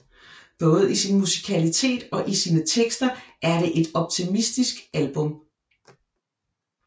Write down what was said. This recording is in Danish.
Både i sin musikalitet og i sine tekster er det et optimistisk album